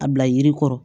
A bila yiri kɔrɔ